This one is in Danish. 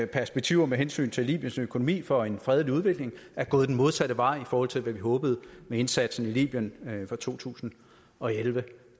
perspektiver med hensyn til libyens økonomi for en fredelig udvikling er gået den modsatte vej i forhold til hvad vi håbede med indsatsen i libyen fra to tusind og elleve